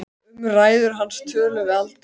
Um ræður hans tölum við aldrei.